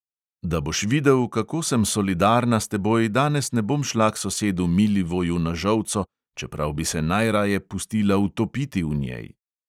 Da boš videl, kako sem solidarna s teboj, danes ne bom šla k sosedu milivoju na žolco, čeprav bi se najraje pustila utopiti v njej.